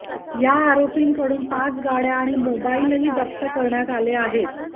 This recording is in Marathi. या आरोपींकडून पाच गाडया आणि मोबाईलही जप्त करण्यात आले आहेत